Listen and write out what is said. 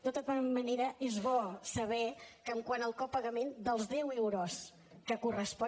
de tota manera és bo saber que quant al copagament dels deu euros que correspon